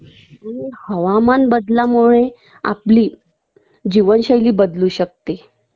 आणि हवामान बदलामुळे आपली जीवनशैली बदलू शकते